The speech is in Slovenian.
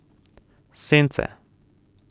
Sence.